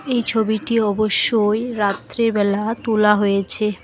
এই ছবিটি অবশ্যই রাত্রিবেলা তোলা হয়েছে।